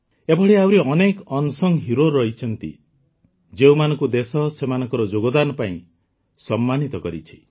ଏଭଳି ଆହୁରି unsung heroes ରହିଛନ୍ତି ଯେଉଁମାନଙ୍କୁ ଦେଶ ସେମାନଙ୍କ ଯୋଗଦାନ ପାଇଁ ସମ୍ମାନିତ କରିଛି